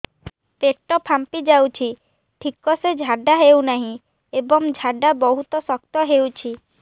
ପେଟ ଫାମ୍ପି ଯାଉଛି ଠିକ ସେ ଝାଡା ହେଉନାହିଁ ଏବଂ ଝାଡା ବହୁତ ଶକ୍ତ ହେଉଛି